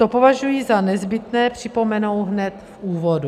To považuji za nezbytné připomenout hned v úvodu.